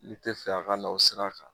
N te fɛ a ka na o sira kan